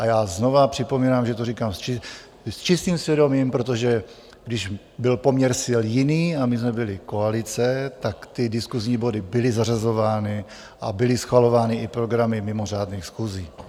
A já znova připomínám, že to říkám s čistým svědomím, protože když byl poměr sil jiný a my jsme byli koalice, tak ty diskusní body byly zařazovány a byly schvalovány i programy mimořádných schůzí.